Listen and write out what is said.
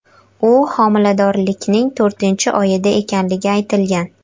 U homiladorlikning to‘rtinchi oyida ekanligi aytilgan.